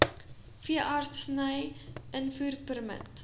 n veeartseny invoerpermit